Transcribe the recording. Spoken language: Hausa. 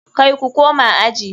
Kai ku koma aji.